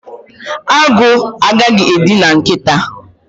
Agụ agaghị edina nkịta